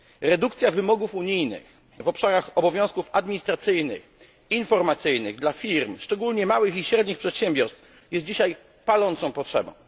Redukcja wymogów unijnych w obszarach obowiązków administracyjnych, informacyjnych dla firm, szczególnie małych i średnich przedsiębiorstw, jest dzisiaj palącą potrzebą.